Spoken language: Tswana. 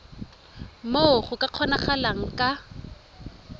moo go ka kgonagalang ka